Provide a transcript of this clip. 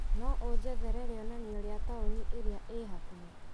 No ũnjethere rĩonanio rĩa taũni ĩrĩa ĩ hakuhĩ .